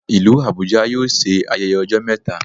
Ìlú Abuja yóò ṣe ayẹyẹ ọjọ́ mẹta